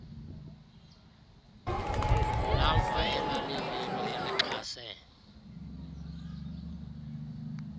lamva elalililo elixhase